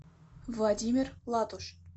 владимир латуш